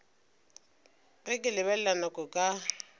ge ke lebelela nako ka